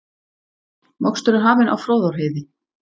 Mokstur er hafinn á Fróðárheiði